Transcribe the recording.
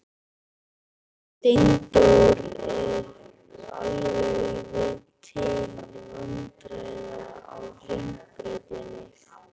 Steindór er alveg til vandræða á Hringbrautinni.